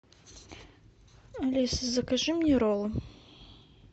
алиса закажи мне роллы